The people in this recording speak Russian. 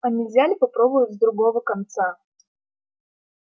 а нельзя ли попробовать с другого конца